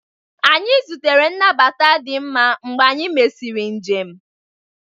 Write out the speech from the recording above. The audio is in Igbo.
Anyị zutere nnabata di mma mgbe anyị mesịrị njem